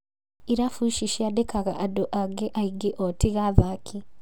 Irabu ici cĩandĩkaga andũ angĩ aingĩ o tiga athaki